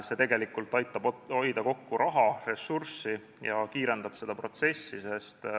See aitab hoida kokku raha, ressurssi, ja kiirendab protsessi.